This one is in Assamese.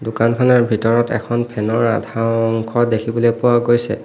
দোকানখনৰ ভিতৰত এখন ফেন ৰ আধা অংশ দেখিবলৈ পোৱা গৈছে।